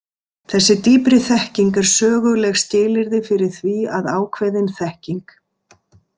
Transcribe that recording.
Þessi dýpri þekking er söguleg skilyrði fyrir því að ákveðin þekking.